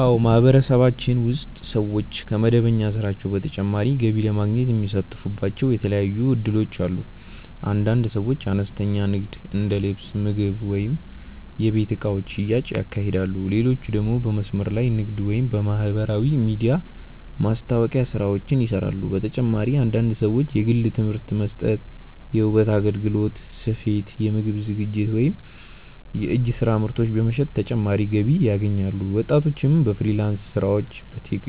አዎ፣ በማህበረሰባችን ውስጥ ሰዎች ከመደበኛ ስራቸው በተጨማሪ ገቢ ለማግኘት የሚሳተፉባቸው የተለያዩ እድሎች አሉ። አንዳንድ ሰዎች አነስተኛ ንግድ እንደ ልብስ፣ ምግብ ወይም የቤት እቃዎች ሽያጭ ያካሂዳሉ፣ ሌሎች ደግሞ በመስመር ላይ ንግድ ወይም የማህበራዊ ሚዲያ ማስታወቂያ ስራዎችን ይሰራሉ። በተጨማሪም አንዳንድ ሰዎች የግል ትምህርት መስጠት፣ የውበት አገልግሎት፣ ስፌት፣ የምግብ ዝግጅት ወይም የእጅ ስራ ምርቶች በመሸጥ ተጨማሪ ገቢ ያገኛሉ። ወጣቶችም በፍሪላንስ ስራዎች፣